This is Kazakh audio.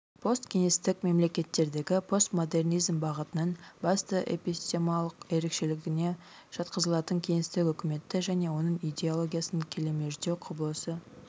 посткеңестік мемлекеттердегі постмодернизм бағытының басты эпистемалық ерекшелігіне жатқызылатын кеңестік үкіметті және оның идеологиясын келемеждеу құбылысы